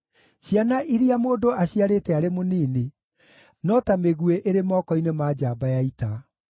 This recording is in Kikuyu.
Ciana iria mũndũ aciarĩte arĩ mũnini no ta mĩguĩ ĩrĩ moko-inĩ ma njamba ya ita.